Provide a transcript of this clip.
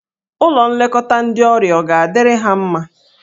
Ụlọ nlekọta ndọ ọrịa ọ ga-adịrị ha mma?